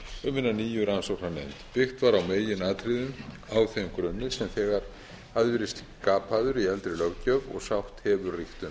um hina nýju rannsóknarnefnd byggt var í meginatriðum á þeim grunni sem þegar hafði verið skapaður í eldri löggjöf og sátt hefur